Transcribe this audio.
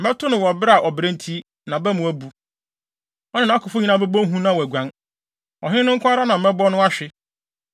Mɛto no wɔ bere a ɔbrɛ nti, nʼaba mu abu. Ɔne nʼakofo nyinaa bɛbɔ hu na wɔaguan. Ɔhene no nko ara na mɛbɔ no ahwe,